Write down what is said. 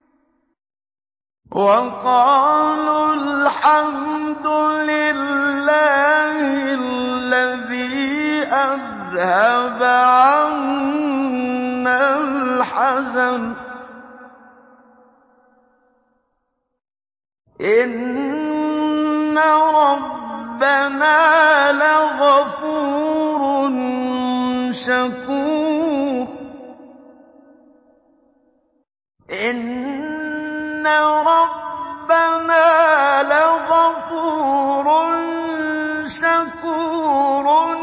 وَقَالُوا الْحَمْدُ لِلَّهِ الَّذِي أَذْهَبَ عَنَّا الْحَزَنَ ۖ إِنَّ رَبَّنَا لَغَفُورٌ شَكُورٌ